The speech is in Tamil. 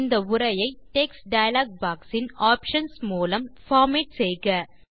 இந்த உரையை டெக்ஸ்ட் டயலாக் பாக்ஸ் இன் ஆப்ஷன்ஸ் மூலம் பார்மேட் செய்க